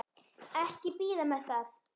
Ekki bíða með það.